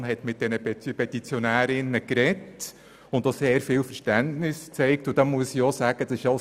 Die ERZ hat mit diesen Petitionärinnen gesprochen und ihnen viel Verständnis entgegengebracht.